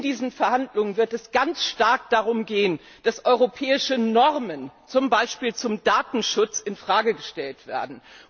In diesen Verhandlungen wird es ganz stark darum gehen, dass europäische Normen, zum Beispiel zum Datenschutz, in Frage gestellt werden.